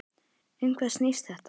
Um hvað snýst þetta?